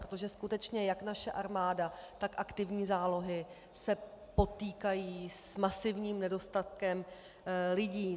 Protože skutečně jak naše armáda, tak aktivní zálohy se potýkají s masivním nedostatkem lidí.